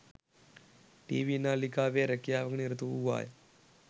TV නාලිකාවේ රැකියාවක නිරත වූවාය